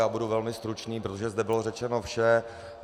Já budu velmi stručný, protože zde bylo řečeno vše.